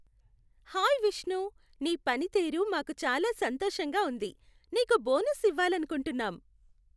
Hi Vishnu, నీ పనితీరు మాకు చాలా సంతోషంగా ఉంది, నీకు బోనస్ ఇవ్వాలనుకుంటున్నాం.